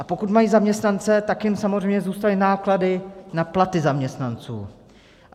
A pokud mají zaměstnance, tak jim samozřejmě zůstaly náklady na platy zaměstnanců.